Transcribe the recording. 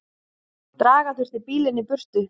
Draga þurfti bílinn í burtu.